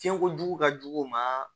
Fiɲɛkojugu ka jugu u ma